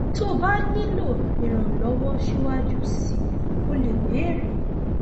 tó o bá nílò ìrànlọwọ síwájú sí i o lè béèrè